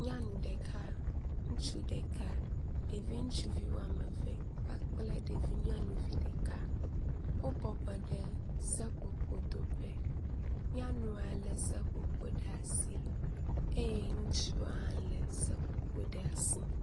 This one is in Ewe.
Nyɔnu ɖeka ŋutsu ɖeka ɖevi ŋutsuvi wɔme eve kpakple ɖevi nyɔnuvi ɖeka wo bɔbɔ ɖe seƒoƒodoƒe. nyanua le seƒoƒo ɖe asi eye ŋutsua hã le seƒoƒo ɖe asi.